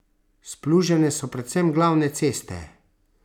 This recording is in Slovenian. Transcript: Splužene so predvsem glavne ceste.